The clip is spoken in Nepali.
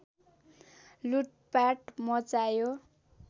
लुटपाट मच्चायो